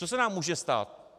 Co se nám může stát?